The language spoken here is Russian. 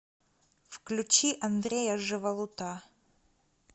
включи андрея живолута